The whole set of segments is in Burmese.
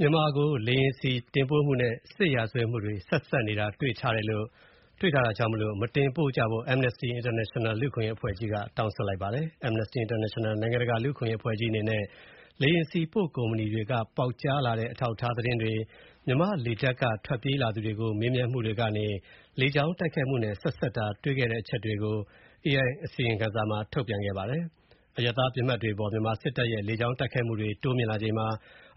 မြန်မာကို လေယာဉ်ဆီတင်ပို့မှုနဲ့ စစ်ရာဇဝတ်မှု ဆက်စပ်နေတာတွေ့ထားလို့ မတင်ပို့ကြဖို့ Amnesty International အဖွဲ့က တောင်းဆိုလိုက်ပါတယ်။ Amnesty International နိုင်ငံတကာလူ့အခွင့်ရေးအဖွဲ့ကြီးအနေနဲ့ လေယာဉ်ဆီပို့ကုမ္ပဏီတွေက ပေါက်ကြားလာတဲ့ အထောက်အထားသတင်းတွေ၊ မြန်မာ့လေတပ်က ထွက်ပြေးလာသူတွေကို မေးမြန်းမှုတွေကနေ လေကြောင်းတိုက်ခိုက်မှုနဲ့ ဆက်စပ်တာတွေ့ခဲ့တဲ့အချက်တွေကို AI က အစီရင်ခံစာထုတ်ပြန်ခဲ့ပါတယ်။ အရပ်သားပစ်မှတ်တွေအပေါ် မြန်မာစစ်တပ်ရဲ့ လေကြောင်းတိုက်ခိုက်မှုတွေ တိုးမြင့်လာချိန်မှာ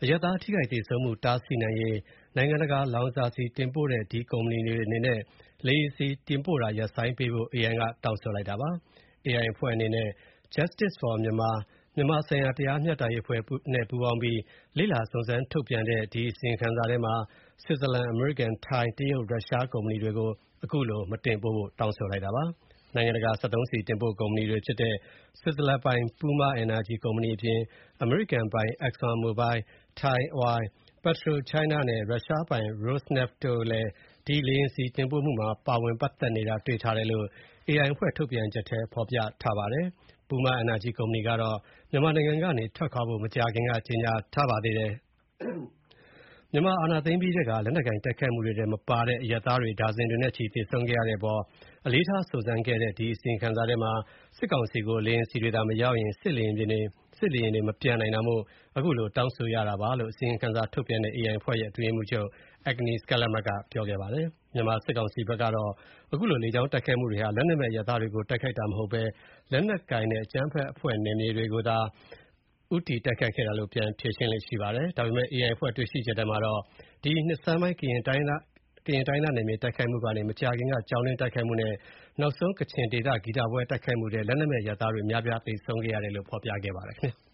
အရပ်သားထိခိုက်သေဆုံးမှု တားဆီးနိုင်ရေး၊ နိုင်ငံတကာ လောင်စာဆီတင်ပို့တဲ့ ကုမ္ပဏီတွေအနေနဲ့ လေယာဉ်ဆီတင်ပို့တာ ရပ်ဆိုင်းပေးဖို့၊ AI ကတောင်းဆိုပါတယ်။ AI အဖွဲ့နဲ့ Justice for Myanmar မြန်မာဆိုင်ရာတရားမျှတရေးအဖွဲ့ ပူးပေါင်းပြီး လေ့လာစုံစမ်းထုတ်ပြန်တဲ့ အစီရင်ခံစာထဲမှာ ဆွစ်ဇာလန်၊ အမေရိကန်၊ ထိုင်း၊ တရုတ်နဲ့ ရုရှားကုမ္ပဏီတွေကို အခုလိုတောင်းဆိုလိုက်တာပါ။ နိုင်ငံတကာ စက်သုံးဆီတင်ပို့ကုမ္ပဏီတွေဖြစ်တဲ့ ဆွစ်ဇာလန်ပိုင် Puma Energy ကုမ္ပဏီအပြင် အမေရိကန်ပိုင် ExxonMobil ၊ Thai Oil ၊ PetroChina နဲ့ ရုရှားပိုင် Rosneft တို့လည်း ဒီ လေယာဉ်ဆီတင်ပို့မှုမှာ ပါဝင်ပတ်သက်နေတာတွေ့ထားတယ်လို့ AI အဖွဲ့ထုတ်ပြန်ချက်ထဲ ဖော်ပြထားပါတယ်။ Puma Energy ကုမ္ပဏီကတော့ မြန်မာနိုင်ငံကနေထွက်ဖို့ မကြာခင်က ကြေညာထားပါတယ်။ မြန်မာစစ်အာဏာသိမ်းအပြီးထဲက လက်နက်ကိုင်တိုက်ခိုက်မှုထဲမပါတဲ့ အရပ် သားတွေ ဒါဇင်တွေနဲ့ချီသေဆုံးခဲ့ရတဲ့အပေါ် အလေးထားစုံစမ်းခဲ့တဲ့ အစီရင်ခံစာထဲမှာ စစ်ကောင်စီကို လေယာဉ်ဆီတွေသာ မရောင်းရင် စစ်လေယာဉ်တွေ မပျံနိုင်တာမို့ အခုလိုတောင်းဆိုတာပါလို့ အစီရင်ခံစာထုတ်ပြန်တဲ့ AI အဖွဲ့ရဲ့ အတွင်းရေးမှုးချုပ် Agnes Callamard က ပြောကြားခဲ့ပါတယ်။ မြန်မာစစ်ကောင်စီဘက်ကတော့ အခုလို လေကြောင်းတိုက်ခိုက်မူတွေဟာ လက်နက်မဲ့အရပ်သားတွေကို တိုက်ခိုက်တာမဟုတ်ဘဲ လက်နက်ကိုင်နဲ့ အကြမ်းဖက်အဖွဲ့ နယ်မြေတွေကိုသာ ဦးတည်တိုက်ခိုက်ခဲ့တာလို့ ပြန်ဖြေရှင်းလေ့ရှိပါတယ်။ ဒါပေမဲ့ AI အဖွဲ့ တွေ့ရှိချက်ထဲမှာတော့ ဒီနှစ်ဆန်းပိုင်း ကရင်တိုင်းရင်းသားနယ်မြေတိုက်ခိုက်မှုကနေ မကြာခင်က ကျောင်းတွင်းတိုက်ခိုက်မှုနဲ့ နောက်ဆုံးကချင်ဒေသ ဂီတပွဲတိုက်ခိုက်မှုထဲ လက်နက်မဲ့ အရပ်သားတွေအများအပြား သေဆုံးခဲ့ရတယ်လို့ ဖော်ပြခဲ့ပါတယ်ခင်ဗျာ။